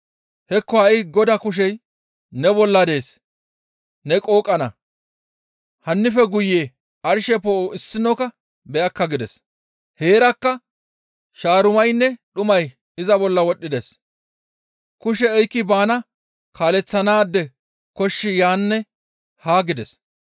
Hekko ha7i Godaa kushey ne bolla dees; ne qooqana; hannife guye arshe poo7o issinokka beyakka» gides. Heerakka shaarumaynne dhumay iza bolla wodhdhides; kushe oykki bana kaaleththanaade koshshi yaanne haa gides.